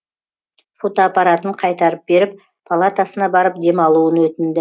фотоаппаратын қайтарып беріп палатасына барып демалуын өтінді